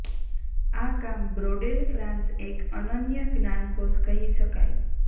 આ કામ Braudel France એક અનન્ય જ્ઞાનકોશ કહી શકાય